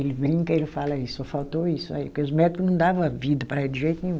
Ele brinca, ele fala isso, só faltou isso aí, porque os médico não dava vida para ele de jeito nenhum.